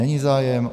Není zájem.